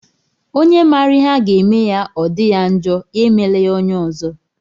Onye mara ihe a ga-eme ya o di ya njọ, ya emela ya onye ọzọ.